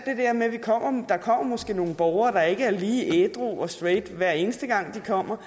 nogle borgere der ikke er lige ædru og straight hver eneste gang de kommer